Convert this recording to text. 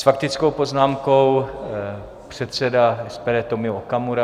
S faktickou poznámkou předseda SPD Tomio Okamura.